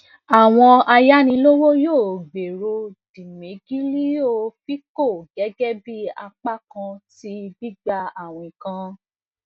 awọn ayanilowo yoo gbero dimegilio fico gẹgẹbi apakan ti gbigba awin kan